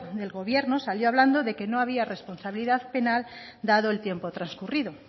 del gobierno salió hablando de que no había responsabilidad penal dado el tiempo trascurrido